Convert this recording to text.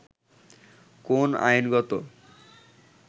কোন আইনগত